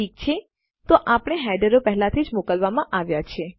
ઠીક છે તો આપણા હેડરો પહેલાથી જ મોકલવામાં આવ્યા છે